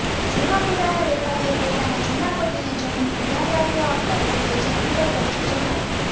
જુહાપુરાના વેપારીએ પોતાના જુના પગીને જમીનનું ધ્યાન રાખવા આપતા પગીએ જમીન પર કબ્જો જમાવી